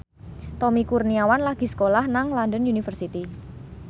Tommy Kurniawan lagi sekolah nang London University